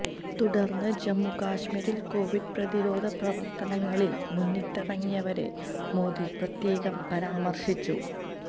തുടർന്ന് ജമ്മുകശ്മീരിൽ കോവിഡ് പ്രതിരോധ പ്രവർത്തനങ്ങളിൽ മുന്നിട്ടിറങ്ങിയവരെ മോദി പ്രത്യേകം പരാമർശിച്ചു